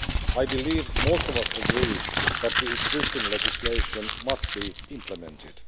I believe most of us agree that the existing legislation must be implemented.